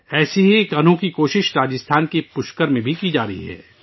اسی طرح کی انوکھی کوشش راجستھان کے پشکر میں کی جا رہی ہے